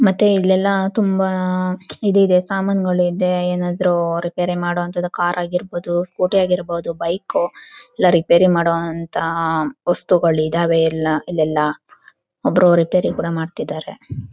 ಮತ್ತೆ ಇಲ್ಲೆಲ್ಲಾ ತುಂಬಾ ಇದುಇದೇ ಸಮಾನಗಳು ಇದೆ ಏನಾದ್ರು ರಿಪೇರ್ ಮಾಡೋಅಂತದು ಕಾರ್ ಆಗಿರ್ಬಹುದು ಸ್ಕೂಟಿ ಆಗಿರ್ಬಹುದು ಬೈಕ್ ಎಲ್ಲ ರಿಪೇರ್ ಮಾಡೋ ಅಂತ ವಸ್ತುಗಳು ಇದಾವೆ ಇಲ್ಲಿ ಎಲ್ಲ ಒಬ್ಬರು ರಿಪೇರ್ ಕೂಡ ಮಾಡತಿದರೆ.